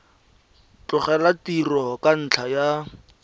tlogela tiro ka ntlha ya